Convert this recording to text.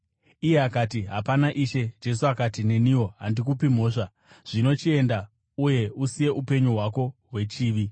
Iye akati, “Hapana, Ishe.” Jesu akati, “Neniwo handikupi mhosva. Zvino chienda, uye usiye upenyu hwako hwechivi.”